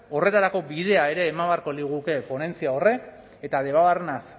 horretarako bidea ere eman beharko liguke ponentzia horrek eta debabarrenaz